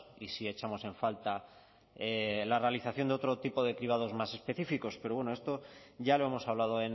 y sí echamos en falta la realización de otro tipo de cribados más específicos pero bueno esto ya lo hemos hablado